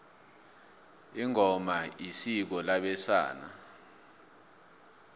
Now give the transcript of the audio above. ingoma isiko labesana